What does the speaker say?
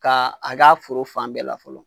Ka a k'a foro fan bɛɛ la fɔlɔ.